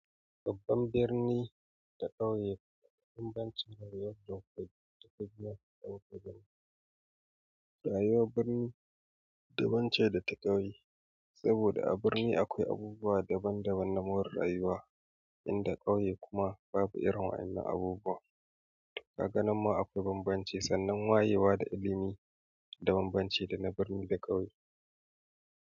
Babban birni da ƙauye bambanci rayuwar duk gida ɗan ƙabilu. Rayuwar birni dabance da ta ƙauye. Saboda a birni akwai abubuwa daban daban na more rayuwa, inda ƙauye kuma babu irin wa'inan abubuwa. Kaga na ma akwai bambanci sannan wayewa da ilimi da bambanci da na birni da ƙauye.